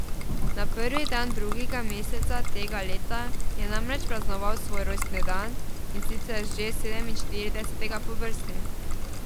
Na prvi dan drugega meseca tega leta je namreč praznoval svoj rojstni dan, in sicer že sedeminštiridesetega po vrsti.